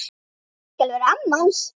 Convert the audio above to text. Ég skal vera amma hans.